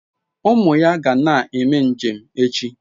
Umu ya ga na-eme njem echi